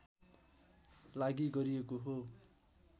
लागि गरिएको हो